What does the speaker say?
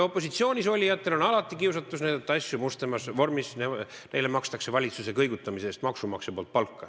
Opositsioonis olijatel on alati kiusatus näidata asju mustemas vormis, neile maksab maksumaksja valitsuse kõigutamise eest palka.